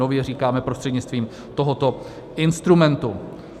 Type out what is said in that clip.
"Nově" říkáme prostřednictvím tohoto instrumentu.